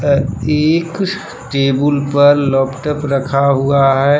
अ एक टेबुल पर लपटप रखा हुआ है।